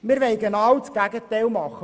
Wir wollen das genaue Gegenteil davon;